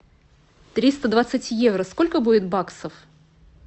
триста двадцать евро сколько будет баксов